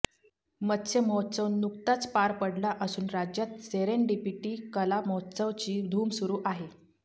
मत्स्य महोत्सव नुकताच पार पडला असून राज्यात सेरेंडिपिटी कला महोत्सवची धूम सुरू आहे